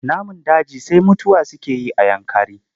Namun daji sai mutuwa suke yi a Yankari.